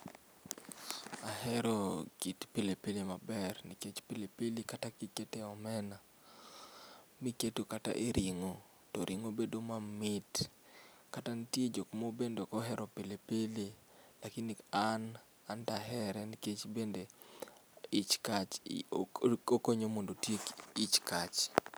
Ahero kit pilipili maber nikech pilipili kata kikite omena, mikete kata e ringo to ringo bedo mamit ,kata nitie jok ma bende ok ohero pilipili lakini an anto ahere nikech bende ich kach okonyo mondo otiek ich kach